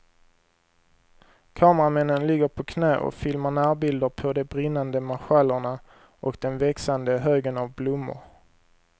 Kameramännen ligger på knä och filmar närbilder på de brinnande marschallerna och den växande högen av blommor.